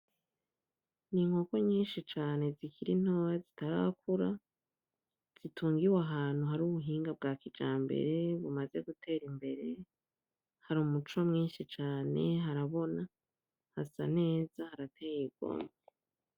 Inkoko nyinshi cane zikiri ntoyi zitarakura, zitungiwe ahantu hari ubuhinga bwa kijambere, bumaze gutera imbere, hari umuco mwinshi cane, harabona, hasa neza, harateye igomwe.